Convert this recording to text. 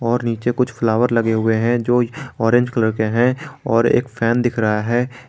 और नीचे कुछ फ्लावर लगे हुए हैं जो ऑरेंज कलर के हैं और एक फैन दिख रहा है।